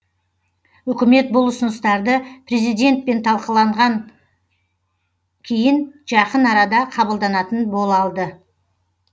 үкімет бұл ұсыныстарды президентпен талқыланған кейін жақын арада қабылданатын болалды